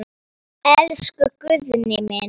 Elsku Guðni minn.